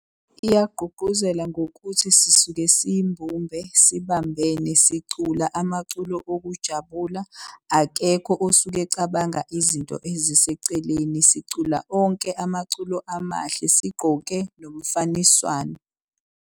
Iyagqugquzela ngokuthi sisuke siyimbumbe, sibambene, sicula amaculo okujabula. Akekho osuke ecabanga izinto eziseceleni. Sicula onke amaculo amahle sigqoke nomfaniswano.